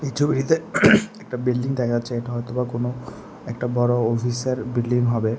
ছবিটিতে একটা বিল্ডিং দেখা যাচ্ছে হয়তোবা কোনো একটা বড় অফিসার বিল্ডিং হবে।